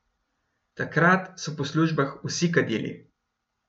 Takrat so po službah vsi kadili.